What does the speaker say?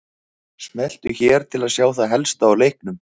Smelltu hér til að sjá það helsta úr leiknum